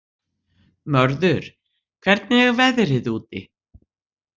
Mörður, hvernig er veðrið úti?